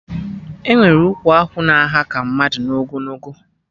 Enwere ụkwụ akwụ na aha ka mmadụ na ogologo